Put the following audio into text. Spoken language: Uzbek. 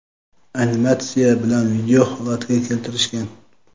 animatsiya bilan video holiga keltirishgan.